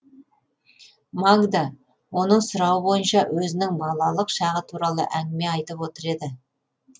магда оның сұрауы бойынша өзінің балалық шағы туралы әңгіме айтып отыр еді